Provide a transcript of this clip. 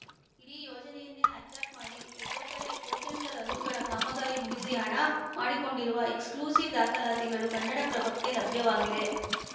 ಇಡೀ ಯೋಜನೆಯನ್ನೇ ಹೈಜಾಕ್‌ ಮಾಡಿ ಒಬ್ಬೊಬ್ಬರೇ ಕೋಟ್ಯಂತರ ರುಗಳ ಕಾಮಗಾರಿ ಮುಗಿಸಿ ಹಣ ಮಾಡಿಕೊಂಡಿರುವ ಎಕ್ಸ್‌ಕ್ಲ್ಯೂಸಿವ್‌ ದಾಖಲಾತಿಗಳು ಕನ್ನಡಪ್ರಭಕ್ಕೆ ಲಭ್ಯವಾಗಿವೆ